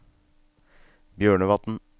Bjørnevatn